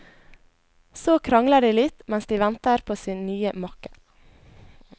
Så krangler de litt, mens de venter på sin nye makker.